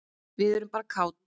Við erum bara kát.